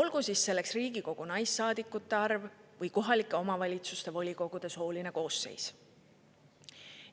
olgu siis selleks Riigikogu naissaadikute arv või kohalike omavalitsuste volikogude sooline koosseis.